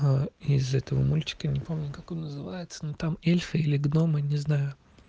а из этого мультика не помню как он называется но там эльфы или гномы не знаю